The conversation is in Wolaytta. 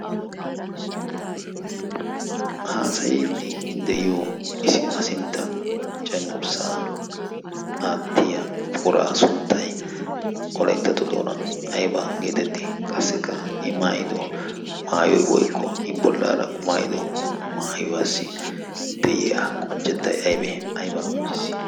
haasayiiddi de'iyo ayi sinttan cenggurssa aattiya puquraa sunttay oleyttato doonan aybaa geetetti qassikka i maayido maayoi woykko i bollaara qumaayido maayuwaassi de'iya qonchcettai aybee aybaa qoncciis.